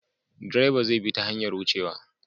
Direba zai bi ta hanyar wucewa.